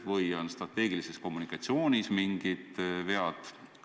Või on strateegilises kommunikatsioonis mingid vead?